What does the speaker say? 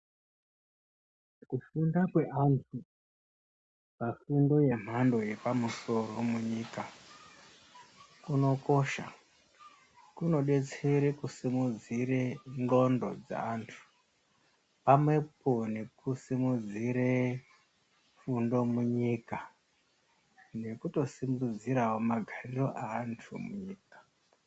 Kufunda kweanthu pafundo yemhando yepamusoro munyika kunokosha, kunodetsere kusimudzire ndxondo dzeanthu pamwepo nekusimudzire fundo munyika nekutosimudzirawo magariro eanthu munyika.